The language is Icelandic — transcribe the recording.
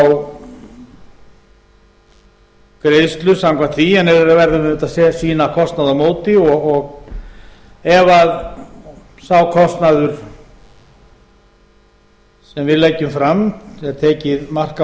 og fá greiðslu samkvæmt því en við verðum auðvitað að sýna kostnað á móti ef sá kostnaður sem við leggjum fram ef það er tekið mark á